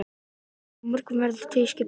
Þátturinn á morgun verður tvískiptur.